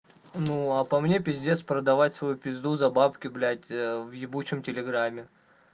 ну а по мне пиздец продавать свою пизду за бабки блять в ебучем телеграме